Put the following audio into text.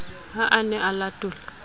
ha a ne a latola